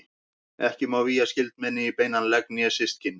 Ekki má vígja skyldmenni í beinan legg né systkin.